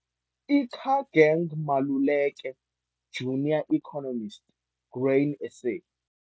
Ikageng Maluleke, Junior Economist, Grain SA.